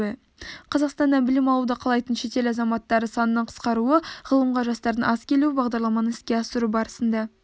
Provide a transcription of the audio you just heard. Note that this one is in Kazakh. қазақстаннан білім алуды қалайтын шетел азаматтары санының қысқаруы ғылымға жастардың аз келуі бағдарламаны іске асыру барысында